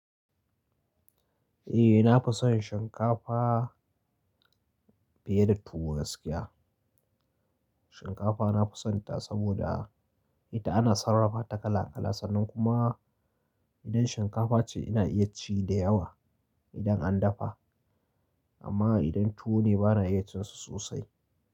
Eh, na fi son shinkafa fiye da tuwo gaskiya. Shinkafa na fusanta saboda ita ana sarrafa ta kala kala, sannan kuma idan shinkafa ce ina iya ci da yawa idan an dafa, amma idan tuwo ne bana iya cin su sosai.